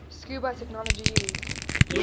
scuba technology used